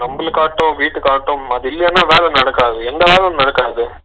நம்மலக்காட்டும் வீட்டுக்காட்டும் அது இல்லானா வேல நடக்காது எந்த வேலையும் நடக்காது